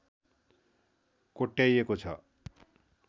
कोट्याइएको छ